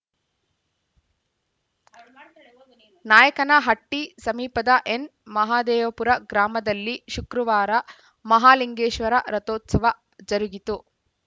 ನಾಯಕನಹಟ್ಟಿಸಮೀಪದ N Mahadevapura ಗ್ರಾಮದಲ್ಲಿ ಶುಕ್ರವಾರ ಮಹಾಲಿಂಗೇಶ್ವರ ರಥೋತ್ಸವ ಜರುಗಿತು